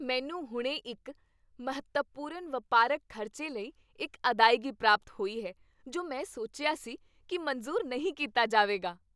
ਮੈਨੂੰ ਹੁਣੇ ਇੱਕ ਮਹੱਤਵਪੂਰਨ ਵਪਾਰਕ ਖ਼ਰਚੇ ਲਈ ਇੱਕ ਅਦਾਇਗੀ ਪ੍ਰਾਪਤ ਹੋਈ ਹੈ ਜੋ ਮੈਂ ਸੋਚਿਆ ਸੀ ਕੀ ਮਨਜ਼ੂਰ ਨਹੀਂ ਕੀਤਾ ਜਾਵੇਗਾ।